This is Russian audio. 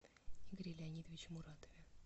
игоре леонидовиче муратове